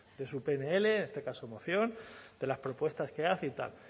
de su pnl en este caso moción de las propuestas que hace y tal